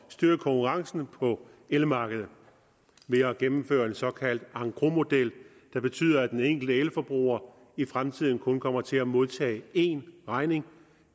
styrke konkurrencen på elmarkedet ved at gennemføre en såkaldt engrosmodel der betyder at den enkelte elforbruger i fremtiden kun kommer til at modtage én regning